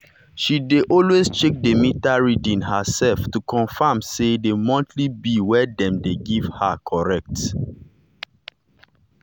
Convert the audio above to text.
she dey always check the meter reading herself to confirm say the monthly bill we dem dey give her correct.